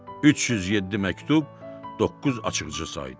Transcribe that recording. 307 məktub, doqquz açıqca sayıldı.